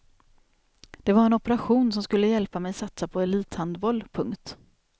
Det var en operation som skulle hjälpa mig satsa på elithandboll. punkt